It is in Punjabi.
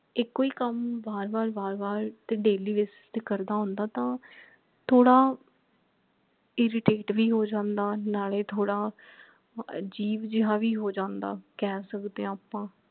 ਇਕੋ ਹੀ ਕੱਮ ਬਾਰ ਬਾਰ ਬਾਰ ਬਾਰ ਤੇ daily basis ਤੇ ਕਰਦਾ ਹੁੰਦਾ ਤਾਂ ਥੋੜਾ irritate ਭੀ ਹੋ ਜਾਂਦਾ ਨਾਲੇ ਥੋੜਾ ਅਜੀਬ ਜੇਹਾ ਭੀ ਹੋ ਜਾਂਦਾ ਕਹਿ ਸਕਦੇ ਹਾਂ ਆਪਾ